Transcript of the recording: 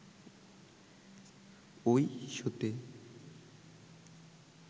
ওই শোতে